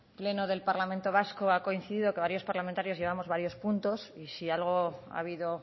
pleno del parlamento vasco ha coincidido que varios parlamentarios llevamos varios puntos y si algo ha habido